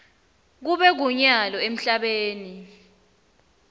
kube kunyalo emhlabeni